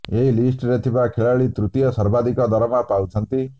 ଏହି ଲିଷ୍ଟରେ ଥିବା ଖେଳାଳି ତୃତୀୟ ସର୍ବାଧିକ ଦରମା ପାଉଛନ୍ତି